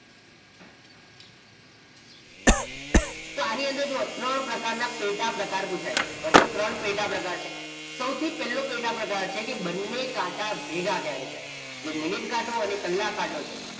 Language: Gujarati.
તો આની જુઓ અંદર ત્રણ પ્રકાર ના પેટા પ્રકાર પુછાય છે okay ત્રણ પેટા પ્રકાર છે સૌથી થી પેલો પ્રકાર પેટા પ્રકાર છે કે બંને કાંટા ભેગા કયારે થાય જે મિનીટ કાંટો અને કલાક કાંટો છે